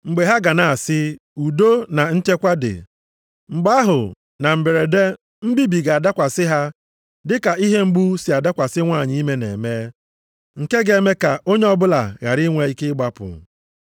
Mgbe ha ga na-asị udo, na nchekwa dị, mgbe ahụ, na mberede, mbibi ga-abịakwasị ha dị ka ihe mgbu sị adakwasị nwanyị ime na-eme, nke ga-eme ka onye ọbụla ghara inwe ike ịgbapụ.